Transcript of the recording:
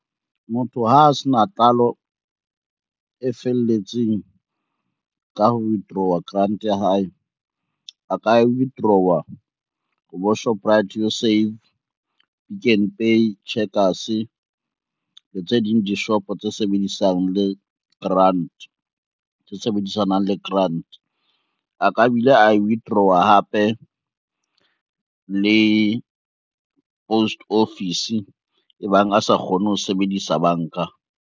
Motho ha a se na tlalo e felletseng ka ho withdrawer grant ya hae, a ka withdrawer o bo Shoprite You Save, Pick n Pay, Checkers le tse ding dishopo tse sebedisanang le grant. A ka bile a withdrawer hape le post pffice ebang a sa kgone ho sebedisa banka.